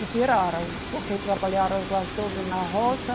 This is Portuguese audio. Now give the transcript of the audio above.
E tiraram, porque trabalharam quase todos na roça.